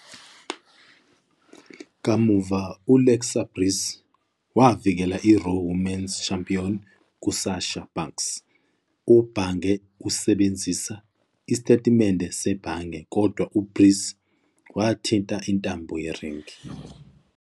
Kamuva, u-Alexa Bliss wavikela iRaw Women's Championship ku-Sasha Banks. UBhange usebenzise "Isitatimende Sebhange" kodwa uBliss wathinta intambo yeringi.